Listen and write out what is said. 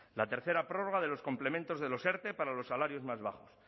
la tercera prórroga de los complementos de los erte para los salarios más bajos